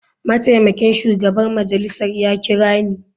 Mataimakin shugaban majalisar ya kira ni.